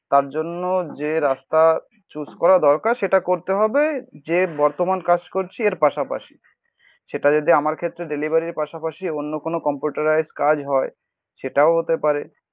তার জন্য যে রাস্তা চুজ করা দরকার সেটা করতে হবে. যে বর্তমান কাজ করছি এর পাশাপাশি. সেটা যদি আমার ক্ষেত্রে Delivery র পাশাপাশি অন্য কোনো কম্পিউটারাইজড কাজ হয়. সেটাও হতে পারে